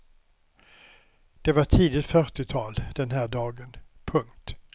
Det var tidigt fyrtiotal den här dagen. punkt